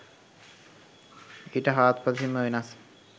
ඊට හාත්පසින්ම වෙනස්.